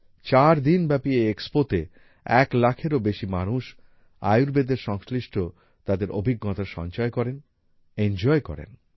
চারদিন ব্যাপী এই এক্সপো তে এক লাখেরও বেশী মানুষ আয়ুর্বেদের সংশ্লিষ্ট তাদের অভিজ্ঞতা সঞ্চয় করেন এনজয় করেন